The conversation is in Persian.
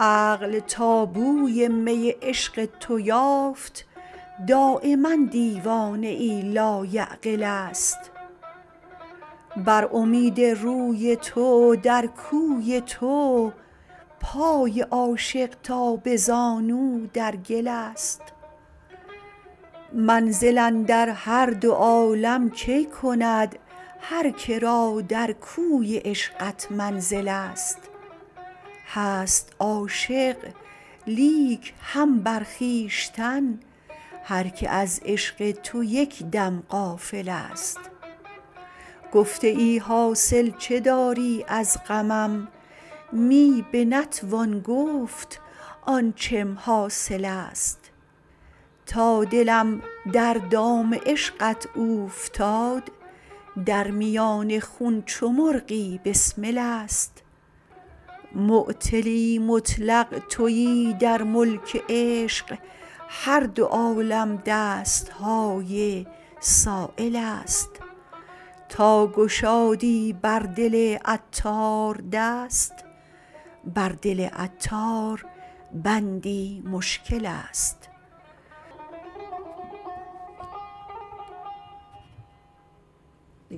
عقل تا بوی می عشق تو یافت دایما دیوانه ای لایعقل است بر امید روی تو در کوی تو پای عاشق تا به زانو در گل است منزل اندر هر دو عالم کی کند هر که را در کوی عشقت منزل است هست عاشق لیک هم بر خویشتن هر که از عشق تو یک دم غافل است گفته ای حاصل چه داری از غمم می به نتوان گفت آنچم حاصل است تا دلم در دام عشقت اوفتاد در میان خون چو مرغی بسمل است معطلی مطلق تویی در ملک عشق هر دو عالم دست های سایل است تا گشادی بر دل عطار دست بر دل عطار بندی مشکل است